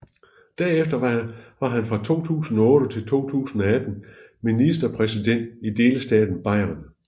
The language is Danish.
Derefter var han fra 2008 til 2018 ministerpræsident i delstaten Bayern